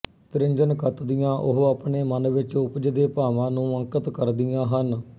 ਤ੍ਰਿੰਜਣ ਕੱਤਦੀਆਂ ਉਹ ਆਪਣੇ ਮਨ ਵਿੱਚ ਉਪਜਦੇ ਭਾਵਾਂ ਨੂੰ ਅੰਕਿਤ ਕਰਦੀਆਂ ਹਨ